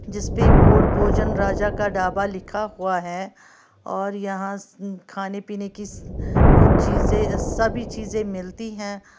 जिस पे बोर्ड भोजन राजा का ढाबा लिखा हुआ है और यहां खाने पीने की कुछ चीजे सभी चीजे मिलती हैं।